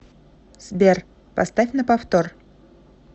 сбер поставь на повтор